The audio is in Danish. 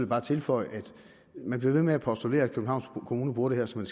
bare tilføje at man bliver ved med at postulere at københavns kommune bruger det her som